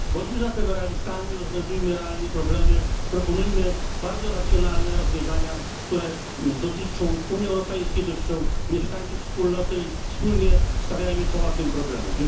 Bądźmy zatem realistami, rozwiązujemy realnie problemy, proponujmy bardzo racjonalne rozwiązania, które dotyczą Unii Europejskiej, które dotyczą mieszkańców Wspólnoty, i wspólnie stawiajmy czoła tym problemom.